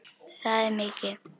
Það er mikið.